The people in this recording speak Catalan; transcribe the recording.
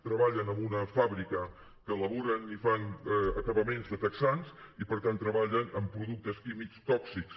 treballen en una fàbrica que elaboren i fan acabaments de texans i per tant treballen amb productes químics tòxics